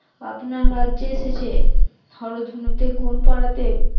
আপনার রাজ্যে এসেছে, হরধনুতে গুণ পরাতে